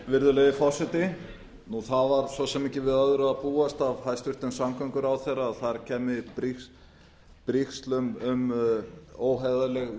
virðulegi forseti það var svo sem ekki við öðru að búast af hæstvirtum samgönguráðherra að þar kæmu brigsl um óheiðarleg